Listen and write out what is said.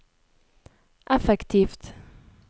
effektivt